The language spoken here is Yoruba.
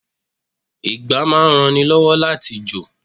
Ìgbá máa ń ran ni lọ́wọ́ láti jò.